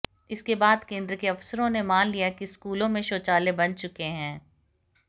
इसके बाद केंद्र के अफसरों ने मान लिया कि स्कूलों में शौचालय बन चुके हैं